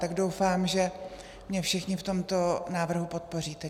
Tak doufám, že mě všichni v tomto návrhu podpoříte.